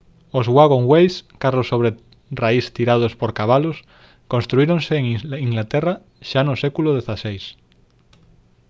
os «waggonways» carros sobre raís tirados por cabalos construíronse en inglaterra xa no século xvi